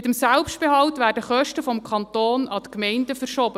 Mit dem Selbstbehalt werden Kosten des Kantons zu den Gemeinden verschoben.